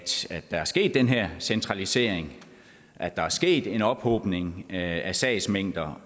der er sket den her centralisering at der er sket en ophobning af sagsmængder